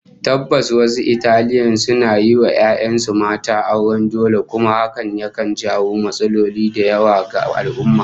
Tabbas wasu Italian suna yin wa 'ya'yan su mata auren dole kuma hakan yakan jawo matsaloli da yawa ga al'ummah